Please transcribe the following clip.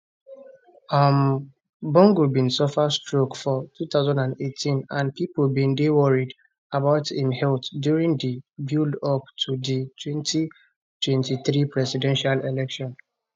um bongo bin suffer stroke for 2018 and pipo bin dey worried about im health during di buildup to di 2023 presidential election